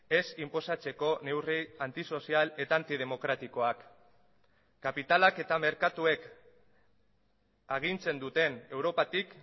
ez inposatzeko neurri antisozial eta antidemokratikoak kapitalak eta merkatuek agintzen duten europatik